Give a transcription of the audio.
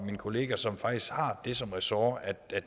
min kollega som faktisk har det som ressort